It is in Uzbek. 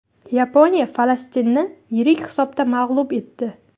Yaponiya Falastinni yirik hisobda mag‘lub etdi.